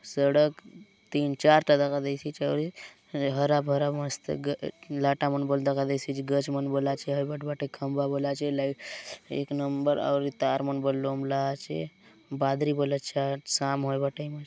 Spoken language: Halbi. सड़क तीन-चार चौड़ी हरा-भरा मस्त ग लाटा मन बले दखा देयसि आचे गच मन बले आचे हय बाट बाटे खंबा बले आचे लाइट एक नंबर आउरी तार मन बले लोमब्ला आचे। बादरी बले अच्छा शाम होयबा टाइम आय।